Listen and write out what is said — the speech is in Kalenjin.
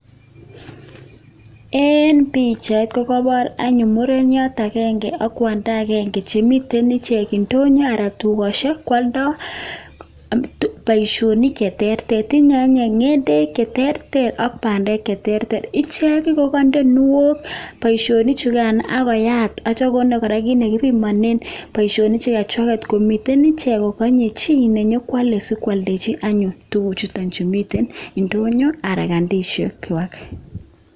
Eng pichait, kokaipoor anyun mureniot agenge ak kwanda agenge che miten ichek indonyo anan dukosiek kwaldai boisionik anyun che terter. Tinyei anyuun ngendek che terter ak bandek che terter, ichek kokainde kuniok boisionik chekan akoyat atyo konde kora kiit nekipimane boisionik chukan chwaket komiten ichek kokanye chi nenyokwale sinyokwaldechi anyun tuguchuto chemiten indonyo anan kandosiekwai.